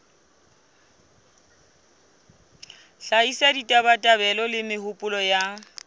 hlahisa ditabatabelo le mehopolo ya